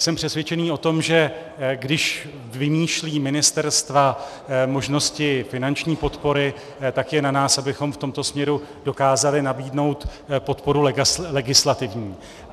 Jsem přesvědčený o tom, že když vymýšlí ministerstva možnosti finanční podpory, tak je na nás, abychom v tomto směru dokázali nabídnout podporu legislativní.